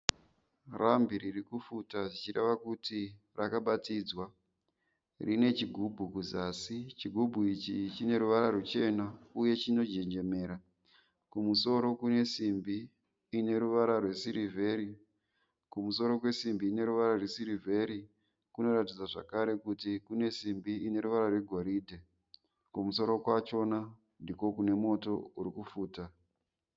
Rambi ririkufuta zvichireva kuti rakabatidzwa. Rinechigubhu kuzasi. Chigubhu ichi chineruvara rwuchena uye chinonjenjemera. Kumusoro kunesimbi ineruvara rwesirivheri. Kumusoro kwesimbi ineruvara rwesirivheri kunoratidza zvakare kuti kunesimbi ineruvara rwegoridhe. Kumusoro kwachona ndiko kunemoto urikufuta.